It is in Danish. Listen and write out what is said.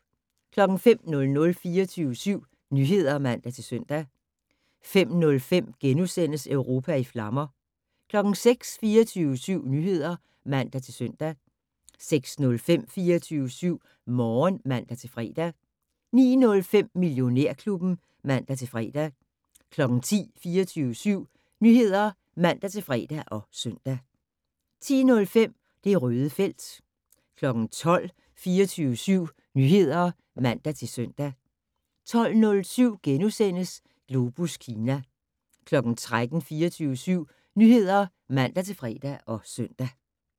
05:00: 24syv Nyheder (man-søn) 05:05: Europa i flammer * 06:00: 24syv Nyheder (man-søn) 06:05: 24syv Morgen (man-fre) 09:05: Millionærklubben (man-fre) 10:00: 24syv Nyheder (man-fre og søn) 10:05: Det Røde felt 12:00: 24syv Nyheder (man-søn) 12:07: Globus Kina * 13:00: 24syv Nyheder (man-fre og søn)